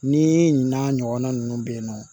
Ni ɲinɛn ɲɔgɔnna ninnu bɛ ye nɔ